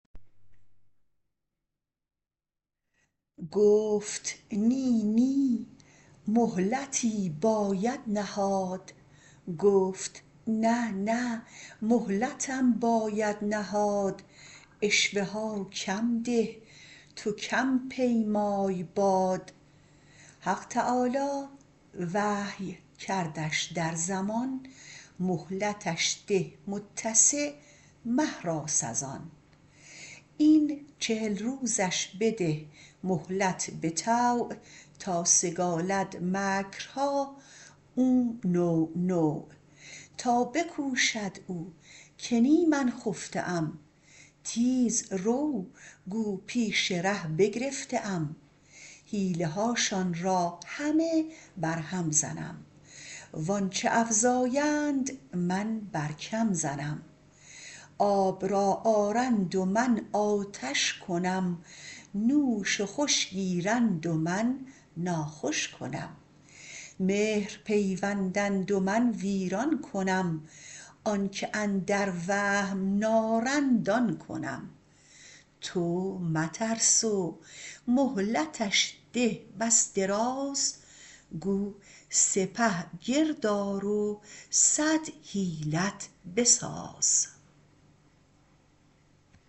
گفت نه نه مهلتم باید نهاد عشوه ها کم ده تو کم پیمای باد حق تعالی وحی کردش در زمان مهلتش ده متسع مهراس از آن این چهل روزش بده مهلت بطوع تا سگالد مکرها او نوع نوع تا بکوشد او که نی من خفته ام تیز رو گو پیش ره بگرفته ام حیله هاشان را همه برهم زنم و آنچ افزایند من بر کم زنم آب را آرند من آتش کنم نوش و خوش گیرند و من ناخوش کنم مهر پیوندند و من ویران کنم آنک اندر وهم نارند آن کنم تو مترس و مهلتش ده دم دراز گو سپه گرد آر و صد حیلت بساز